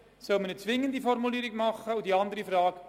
Soll eine zwingende Formulierung ausgearbeitet werden?